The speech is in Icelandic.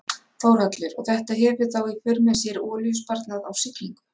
Þórhallur: Og þetta hefur þá í för með sér olíusparnað á siglingu?